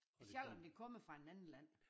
Selvom det kommer fra en anden land